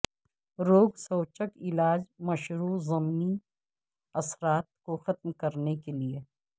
روگسوچک علاج مشروع ضمنی اثرات کو ختم کرنے کے لئے